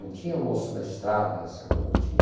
Não tinha almoço na estrada, essa coisa não tinha.